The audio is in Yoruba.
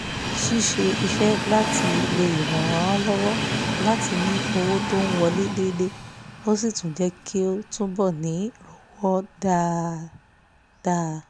ṣíṣe iṣẹ́ láti ilé ràn-án lọ́wọ́ láti ní owó tó ń wọlé déédé ó sì tún jẹ́ kó túbọ̀ ní r'ówó dáadá